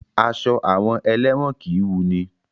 Aṣọ àwọn elẹ́wọ̀n kìí wunni.